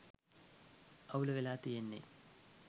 අවුල වෙලා තියෙන්නේ